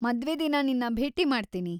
ಮದ್ವೆ ದಿನ ನಿನ್ನ ಭೇಟಿ ಮಾಡ್ತೀನಿ!